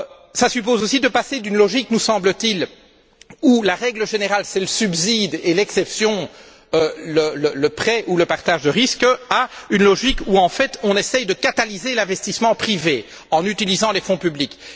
Cela suppose aussi de passer d'une logique, nous semble t il, où la règle générale est le subside et l'exception, le prêt ou le partage de risques, à une logique où on essaie de catalyser l'investissement privé en utilisant les fonds publics.